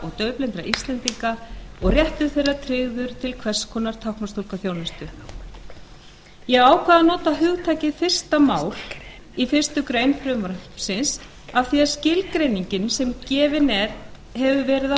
og daufblindra íslendinga og réttur þeirra tryggður til hvers konar táknmálstúlkaþjónustu ég ákvað að nota hugtakið fyrsta mál í fyrstu grein frumvarpsins af því að skilgreiningin sem gefin hefur verið á